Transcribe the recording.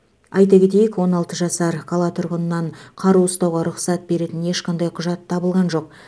айта кетейік он алты жасар қала тұрғынынан қару ұстауға рұқсат беретін ешқандай құжат табылған жоқ